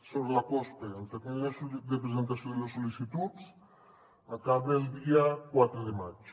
sobre la cospe el termini de presentació de les sol·licituds acaba el dia quatre de maig